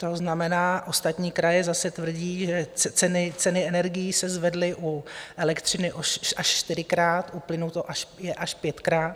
To znamená, ostatní kraje zase tvrdí, že ceny energií se zvedly u elektřiny až čtyřikrát, u plynu je to až pětkrát.